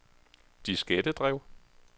diskettedrev